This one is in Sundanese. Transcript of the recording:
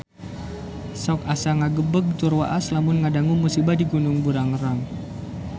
Sok asa ngagebeg tur waas lamun ngadangu musibah di Gunung Burangrang